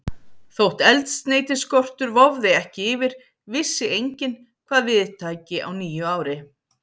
Þótt eldsneytisskortur vofði ekki yfir, vissi enginn, hvað við tæki á nýju ári.